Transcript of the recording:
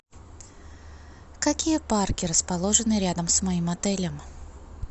какие парки расположены рядом с моим отелем